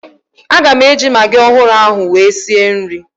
Aga m eji magị ọhụrụ ahụ wee sie nri